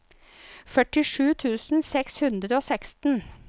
førtisju tusen seks hundre og seksten